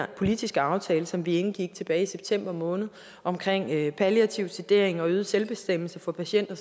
politiske aftale som vi indgik tilbage i september måned om palliativ sedering og øget selvbestemmelse for patienter